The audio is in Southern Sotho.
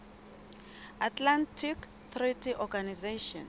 atlantic treaty organization